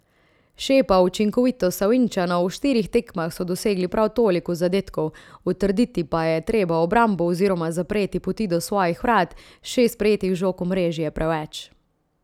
Šepa učinkovitost Savinjčanov, v štirih tekmah so dosegli prav toliko zadetkov, utrditi pa je treba obrambo oziroma zapreti poti do svojih vrat, šest prejetih žog v mreži je preveč.